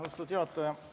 Austatud juhataja!